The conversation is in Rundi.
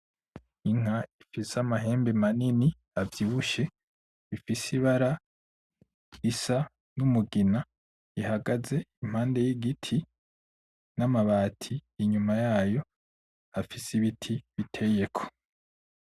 Inka ifise Amahembe manini avyibushe, ifise Ibara risa n'Umugina ihagaze impande y'igiti, n'amabati inyuma yayo afise Ibiti biteyeko.